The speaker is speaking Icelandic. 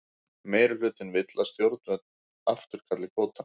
Meirihlutinn vill að stjórnvöld afturkalli kvótann